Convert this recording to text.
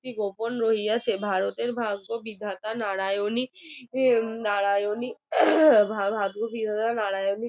শক্তি গোপন রহিয়াছে ভারতের ভাগ্যবিধাতা নারায়ণে নারায়নী ভাগ্যবিধাতা নারায়ণী